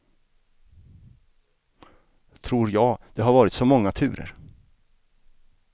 Tror jag, det har varit så många turer.